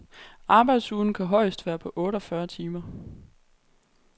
Arbejdsugen kan højest være på otte og fyrre timer.